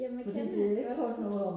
jamen jeg kender det godt